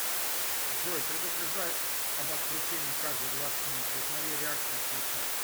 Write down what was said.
джой предупреждай об отключении каждые двадцать минут без моей реакции отключай